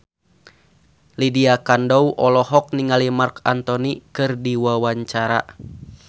Lydia Kandou olohok ningali Marc Anthony keur diwawancara